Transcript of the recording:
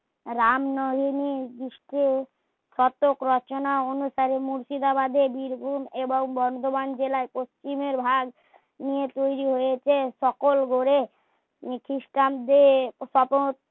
রামনবমী বিষ্ণু প্রত্যেক রচনা অনুসারে মুর্শিদাবাদের বীরভূম এবং বর্ধমান জেলার পশ্চিমে হার তৈরী হয়েছে সকল ঘরে ক্রিস্টানদের সকল